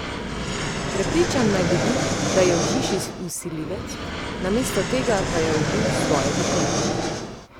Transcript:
Prepričan naj bi bil, da je v hiši vsiljivec, namesto tega pa je ubil svoje dekle.